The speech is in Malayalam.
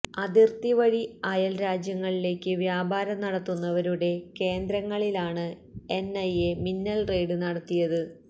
അതിർത്തി വഴി അയല് രാജ്യങ്ങളിലേക്ക് വ്യാപാരം നടത്തുന്നവരുടെ കേന്ദ്രങ്ങളിലാണ് എൻഐഎ മിന്നൽ റെയ്ഡ് നടത്തിയത്